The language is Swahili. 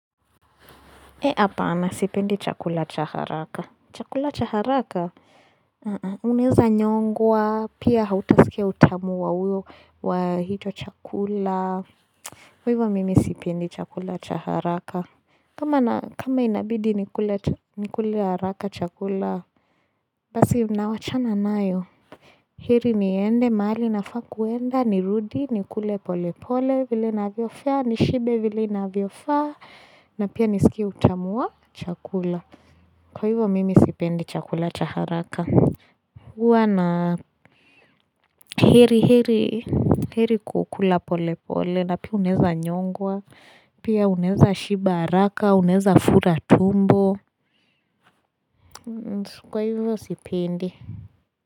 Hei hapaana sipendi chakula cha haraka. Chakula cha haraka? Unaweza nyongwa, pia hautasikia utamu wa huyo wa hicho chakula. Kwa hivo mimi sipendi chakula cha haraka. Kama na kama inabidi nikule haraka chakula. Basi nawachana nayo. Hiri niende, mahali nafaa kuenda, ni rudi, nikule pole pole, vile navio faa, nishibe vile inavyofaa, na pia nisikie utamu wa chakula. Kwa hivyo mimi sipendi chakula cha haraka huwa na heri heri heri kukula pole pole na pia unaweza nyongwa pia unaeza shiba haraka unaeza fura tumbo Kwa hivyo sipendi.